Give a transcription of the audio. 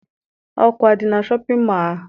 Ọkụ adị na shọpịn mọọ ahụ?